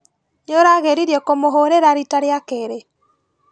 Nĩũrageririe kũmũhũrĩra rita rĩa kerĩ?